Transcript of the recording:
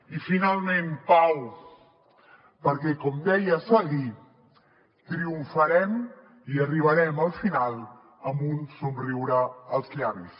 i finalment pau perquè com deia seguí triomfarem i arribarem al final amb un somriure als llavis